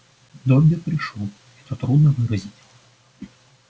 добби пришёл это трудно выразить